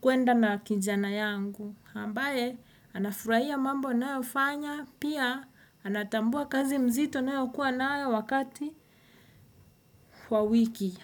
kuenda na kijana yangu. Ambaye, anafurahia mambo ninayo fanya, pia anatambua kazi mzito ninayo kuwa nayo wakati wa wiki.